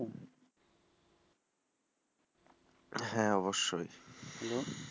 হ্যাঁ অবশ্যই,